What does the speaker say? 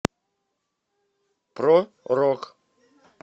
про рок